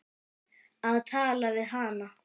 Að tala við hana!